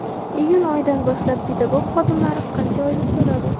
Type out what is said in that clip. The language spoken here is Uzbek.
Iyun oyidan boshlab pedagog xodimlar qancha oylik oladi?.